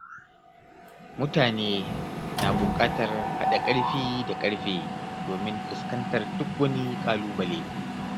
Mutane na buƙatar haɗa ƙarfi da ƙarfe domin fuskantar duk wani ƙalubale.